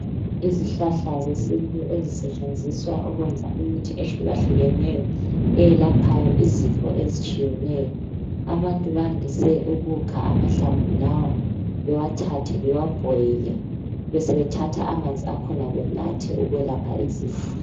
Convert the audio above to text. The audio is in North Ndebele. Izihlahla zesintu ezisetshenziswa ukwenza imithi ehlukahlukeneyo eyelaphayo izifo ezitshiyeneyo. Abantu bayandise ukukha amahlamvu lawa bewathathe bewabhoyile besebethatha amanzi akhona benathe ukwelapha izifo.